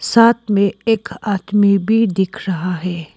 साथ में एक आदमी भी दिख रहा है।